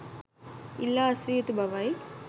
ඉල්ලා අස්විය යුතු බවයි